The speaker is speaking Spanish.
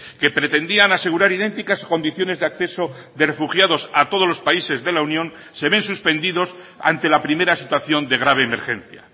que pretendían asegurar idénticas condiciones de acceso de refugiados a todos los países de la unión se ven suspendidos ante la primera situación de grave emergencia